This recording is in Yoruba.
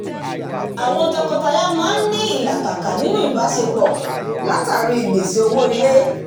àwọn tọkọtaya maa n ní ìlàkàkà ninu ìbáṣepọ̀ látari gbese owó ilé